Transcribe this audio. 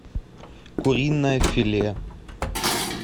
куриное филе